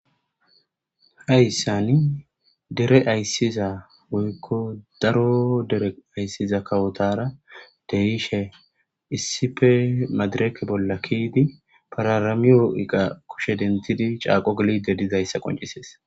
hayssani dere ayssiza woykko daro dere ayssiza kawotara dehishe issife madireke bolla kiidi pararamiyo7iqa kushe dentidi caaqo geli de dizayssa qoncisees